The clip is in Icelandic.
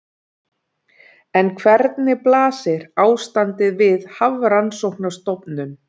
En hvernig blasir ástandið við Hafrannsóknastofnun?